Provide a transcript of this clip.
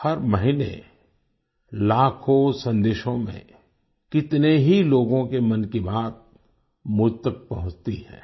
हर महीने लाखों सदेशों में कितने ही लोगों के मन की बात मुझ तक पहुँचती है